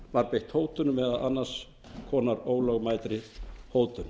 var beitt hótunum og annars konar ólögmætri hótun